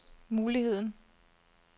muligheden